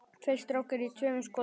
Tveir strákar í tveimur skotum.